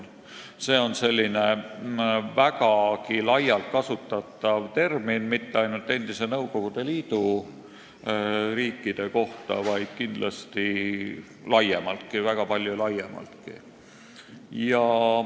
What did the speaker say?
See on väga laialt kasutatav termin, mitte ainult endise Nõukogude Liidu riikide kohta, vaid kindlasti väga palju laiemaltki.